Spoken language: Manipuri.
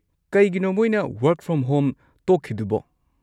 ꯀꯩꯒꯤꯅꯣ ꯃꯣꯏꯅ ꯋꯥꯔꯛ ꯐ꯭ꯔꯣꯝ ꯍꯣꯝ ꯇꯣꯛꯈꯤꯗꯨꯕꯣ?